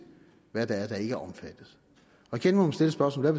hvad det er der ikke er omfattet igen må man stille spørgsmålet